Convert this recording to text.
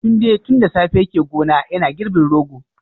Tunde tun da safe yake gona yana girbin rogo